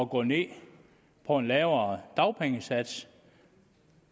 gå ned på en lavere dagpengesats